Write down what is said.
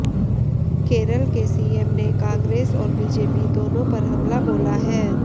केरल के सीएम ने कांग्रेस और बीजेपी दोनों पर हमला बोला है